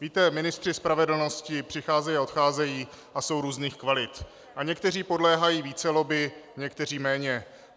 Víte, ministři spravedlnosti přicházejí a odcházejí a jsou různých kvalit a někteří podléhají více lobby, někteří méně.